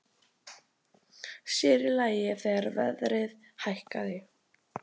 Sér í lagi þegar verðið hækkaði.